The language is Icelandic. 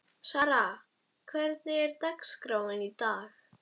Sara, hvernig er dagskráin í dag?